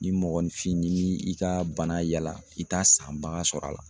Ni mɔgɔninfin ni y'i ka bana yaala i t'a san bagan sɔrɔ a la.